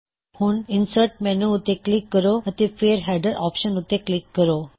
ਹੁਣ ਇਨਸਰਟਮੈਨੂ ਉੱਤੇ ਕਲਿੱਕ ਕਰੋ ਅਤੇ ਫੇਰ ਹੈਡਰ ਆਪਸ਼ਨ ਉੱਤੇ ਕਲਿੱਕ ਕਰੋ